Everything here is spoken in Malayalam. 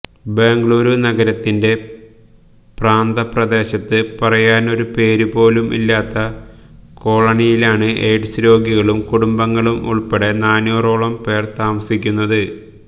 ബെംഗളൂരു നഗരത്തിന്റെ പ്രാന്തപ്രദേശത്ത് പറയാനൊരു പേരുപോലും ഇല്ലാത്ത കോളനിയിലാണ് എയ്ഡ്സ് രോഗികളും കുടുംബങ്ങളും ഉള്പ്പെടെ നൂറോളം പേര് താമസിക്കുന്നത്